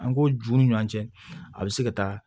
An ko juw ni ɲɔ cɛ a be se ka taa